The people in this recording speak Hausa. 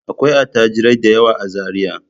Akwai attajirai da yawa a Zariya.